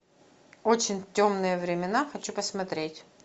очень темные времена хочу посмотреть